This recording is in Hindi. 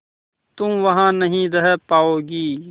तुम वहां नहीं रह पाओगी